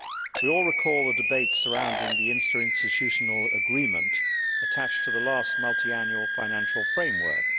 We all recall the debates surrounding the interinstitutional agreement attached to the last Multiannual Financial Framework.